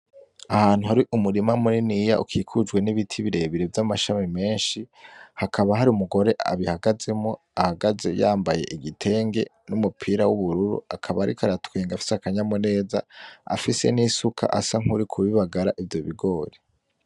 Ahantu hari umurima muniniya ukikujwe nibiti birebire vyamashami menshi, hakaba hari umugore abihagazemwo ahagaze yambaye igitenge n'umupira w'ubururu akaba ariko aratwenga afise aka nyamuneza. Afise n'isuka asa nkuriko bibagara ivyo bigori.